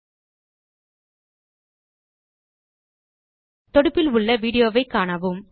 கீழ் வரும் தொடுப்பில் உள்ள விடியோவை காணவும்